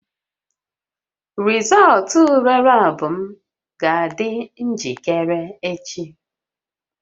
Rịzọụltụ ule lab m ga-adị njikere echi